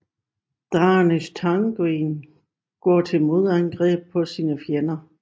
Daenerys Targaryen går til modangreb på sine fjender